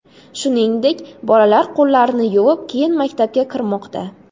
Shuningdek, bolalar qo‘llarini yuvib, keyin maktabga kirmoqda.